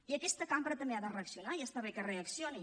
i aquesta cambra també ha de reaccionar i està bé que reaccioni